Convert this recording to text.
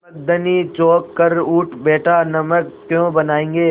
नमक धनी चौंक कर उठ बैठा नमक क्यों बनायेंगे